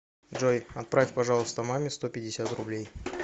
джой отправь пожалуйста маме сто пятьдесят рублей